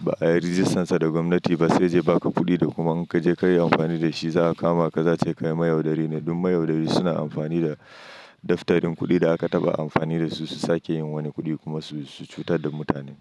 ba ayi ragistan sa da gwamnati ba sai yaje ya baka kudin da kuma in kaje kayi amfani da shi za'a kamaka sai a ce kai mayaudari ne. Duk mayaudari suna amfani da daftarin kuɗi da aka taɓa amfani da su, su sake yin wani kuɗi kuma su cutar da mutane.